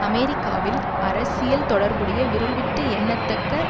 அமெரிக்காவில் அரசியல் தொடர்புடைய விரல்விட்டு எண்ணத்தக்க